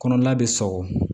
Kɔnɔna bɛ sɔgɔ